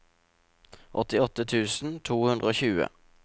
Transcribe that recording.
åttiåtte tusen to hundre og tjue